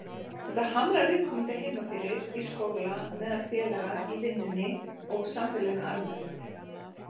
Þetta hamlar viðkomandi heima fyrir, í skóla, meðal félaga, í vinnunni og samfélaginu almennt.